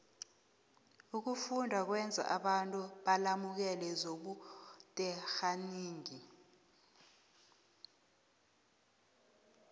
ukufunda kwenza abantu balemuke zobuterhnigi